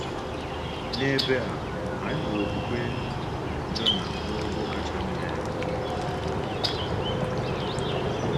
N’ebe a, anyị hụrụ okwukwe Jona n’ogo kacha mma ya.